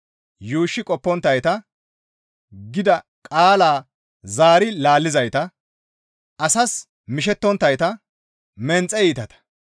yuushshi qopponttayta, gida qaala zaari laallizayta, asas mishettonttayta; menxe iitata.